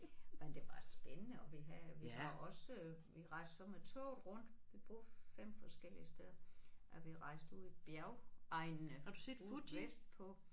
Men det var spændende og vi havde vi var også vi rejste så med toget rundt vi boede 5 forskellige steder og vi rejste ud i bjergegnene ude vestpå